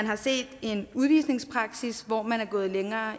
har set en udvisningspraksis hvor man er gået længere